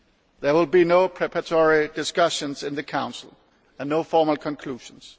There will be no preparatory discussions in the Council and no formal conclusions.